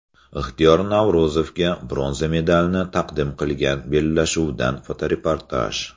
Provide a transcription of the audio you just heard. Ixtiyor Navro‘zovga bronza medalni taqdim qilgan bellashuvdan fotoreportaj.